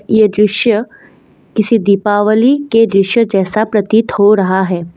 ये दृश्य किसी दीपावली के दृश्य जैसा प्रतीत हो रहा है।